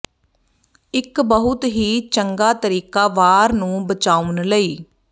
ਇੱਕ ਬਹੁਤ ਹੀ ਚੰਗਾ ਤਰੀਕਾ ਵਾਰ ਨੂੰ ਬਚਾਉਣ ਲਈ